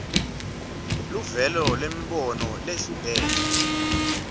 luvelo lwemibono leyehlukene